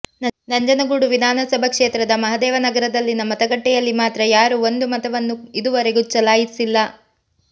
ನಂಜನಗೂಡು ವಿಧಾನಸಭಾ ಕ್ಷೇತ್ರದ ಮಹದೇವನಗರದಲ್ಲಿನ ಮತಗಟ್ಟೆಯಲ್ಲಿ ಮಾತ್ರ ಯಾರೂ ಒಂದು ಮತವನ್ನೂ ಇದುವರೆಗೂ ಚಲಾಯಿಸಿಲ್ಲ